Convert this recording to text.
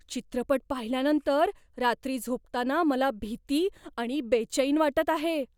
चित्रपट पाहिल्यानंतर रात्री झोपताना मला भीती आणि बेचैन वाटत आहे.